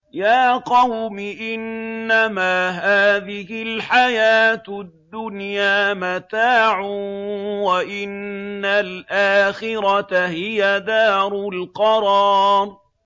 يَا قَوْمِ إِنَّمَا هَٰذِهِ الْحَيَاةُ الدُّنْيَا مَتَاعٌ وَإِنَّ الْآخِرَةَ هِيَ دَارُ الْقَرَارِ